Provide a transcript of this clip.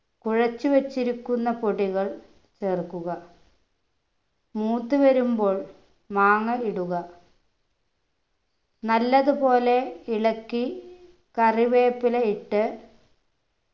കുഴച്ചു വെച്ചിരിക്കുന്ന പൊടികൾ ചേർക്കുക മൂത്തു വരുമ്പോൾ മാങ്ങ ഇടുക നല്ലതുപോലെ ഇളക്കി കറിവേപ്പില ഇട്ട്